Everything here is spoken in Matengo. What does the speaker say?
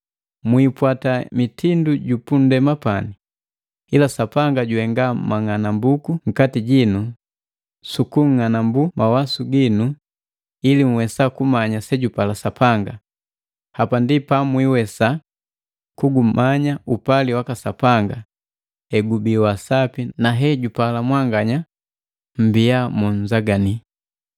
Mwiipwata mitindu jupunndema pani, ila Sapanga juhenga mang'anambuku nkati jinu sukung'anambu mawasu ginu ili nhwesa kuumanya sejupala Sapanga, hapa ndi pamwiiwesa kugumanya upali waka Sapanga; hegubi wasapi na hejupala mwanganya mbia na litosane.